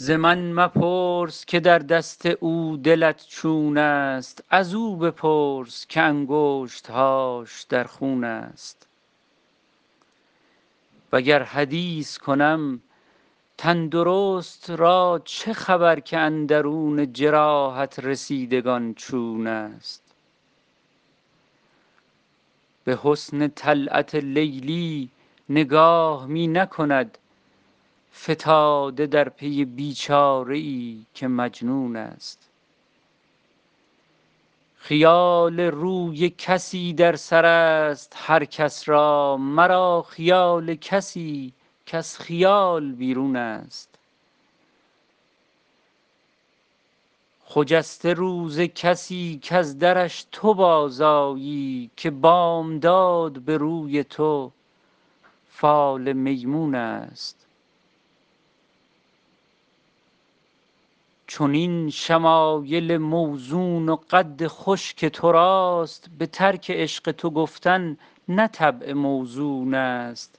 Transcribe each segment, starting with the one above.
ز من مپرس که در دست او دلت چون است ازو بپرس که انگشت هاش در خون است وگر حدیث کنم تن درست را چه خبر که اندرون جراحت رسیدگان چون است به حسن طلعت لیلی نگاه می نکند فتاده در پی بی چاره ای که مجنون است خیال روی کسی در سر است هر کس را مرا خیال کسی کز خیال بیرون است خجسته روز کسی کز درش تو بازآیی که بامداد به روی تو فال میمون است چنین شمایل موزون و قد خوش که تو راست به ترک عشق تو گفتن نه طبع موزون است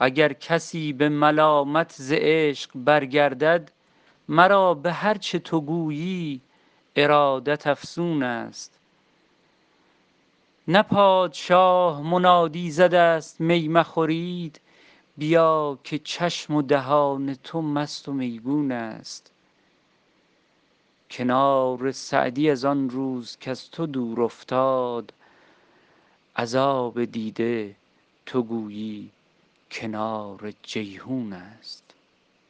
اگر کسی به ملامت ز عشق برگردد مرا به هر چه تو گویی ارادت افزون است نه پادشاه منادی زده است می مخورید بیا که چشم و دهان تو مست و میگون است کنار سعدی از آن روز کز تو دور افتاد از آب دیده تو گویی کنار جیحون است